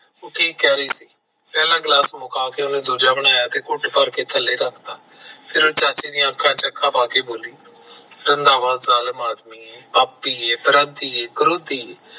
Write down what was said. ਤੂੰ ਠੀਕ ਕਹਿ ਰਹੀ ਸੀ ਤੇ ਦੂਜਾ ਬਣਾਇਆ ਤੇ ਘੁਟ ਭਰ ਕੇ ਥੱਲੇ ਰੱਖ ਤਾ ਫਿਰ ਉਹ ਚਾਚੇ ਦੀਆਂ ਅੱਖਾਂ ਚ ਅੱਖਾ ਪਾ ਕੇ ਬੋਲੀ ਕੇ ਰੰਧਾਵਾ ਜਾਲਮ ਆਦਮੀ ਐ ਪਾਪੀ ਐ ਕਰਾਦੀ ਐ ਕਰੋਪੀ ਐ